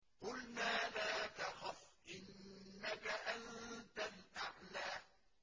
قُلْنَا لَا تَخَفْ إِنَّكَ أَنتَ الْأَعْلَىٰ